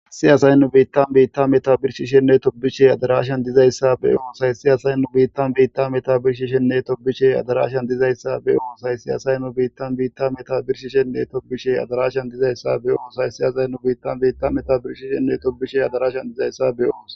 Siyasaynnu biittan beitta meta birshishenne tobishe adarashan dizayssa be oonsay si asaynnu biittan biitta meta birshishenne tobishe adarashan dizayssa be oonsay siyasaynnu biittan biitta meta birshishenne tobishe adarashan dizayssa be oosay siyasaynnu biittan beitta meta birshishenne tobishe adarashan dizayssa be ons.